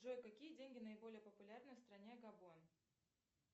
джой какие деньги наиболее популярные в стране габон